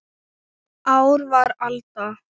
Ár var alda